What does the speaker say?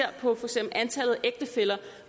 på antallet af for ægtefæller